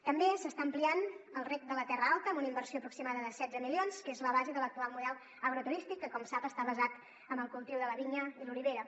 també s’està ampliant el reg de la terra alta amb una inversió aproximada de setze milions que és la base de l’actual model agroturístic que com sap està basat en el cultiu de la vinya i l’olivera